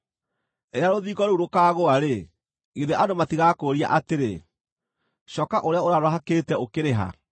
Rĩrĩa rũthingo rũu rũkaaga-rĩ, githĩ andũ matigakũũria atĩrĩ, “Coka ũrĩa ũrarũhakĩte ũkĩrĩ ha?”